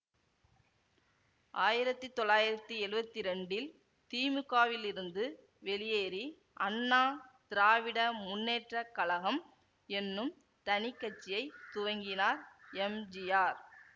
ஆயிரத்தி தொள்ளாயிரத்தி எழுவத்தி இரண்டில் திமுகவிலிருந்து வெளியேறி அண்ணா திராவிட முன்னேற்ற கழகம் என்னும் தனி கட்சியை துவங்கினார் எம்ஜிஆர்